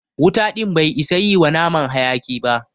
Wuta ɗin bai isa yi wa naman haƴaki ba.